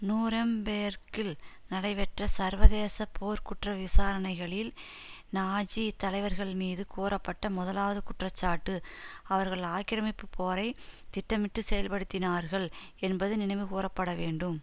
நூரெம்பேர்க்கில் நடைபெற்ற சர்வதேச போர்க் குற்ற விசாரணைகளில் நாஜி தலைவர்கள்மீது கூறப்பட்ட முதலாவது குற்றச்சாட்டு அவர்கள் ஆக்கிரமிப்பு போரை திட்டமிட்டு செயல்படுத்தினார்கள் என்பது நினைவு கூரப்பட வேண்டும்